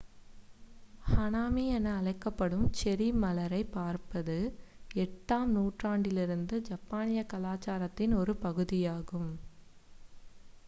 ஹனாமி என அழைக்கப்படும் செர்ரி மலரைப் பார்ப்பது 8 ஆம் நூற்றாண்டிலிருந்து ஜப்பானிய கலாச்சாரத்தின் ஒரு பகுதியாகும்